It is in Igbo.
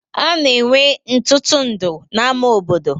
A na-enwe ntụtụndụ n'ama obodo.